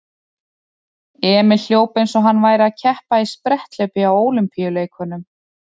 Emil hljóp eins og hann væri að keppa í spretthlaupi á Ólympíuleikunum.